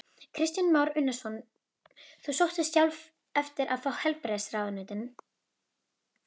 Kristján Már Unnarsson: Þú sóttist sjálf eftir að fá heilbrigðisráðuneytið?